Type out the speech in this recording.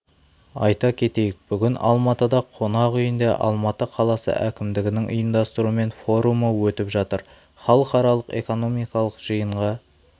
айта кетейік бүгін алматыда қонақ үйінде алматы қаласы әкімдігінің ұйымдастыруымен форумы өтіп жатыр халықаралық экономикалық жиынға